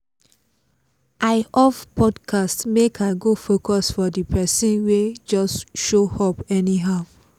i off podcast make i go focus for the persin wey just show up anyhow